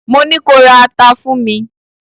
Mo ní ko ra ata fún mi!